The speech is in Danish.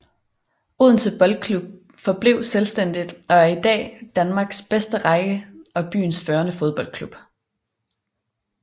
Odense Boldklub forblev selvstændigt og er i dag i Danmarks bedste række og byens førende fodboldklub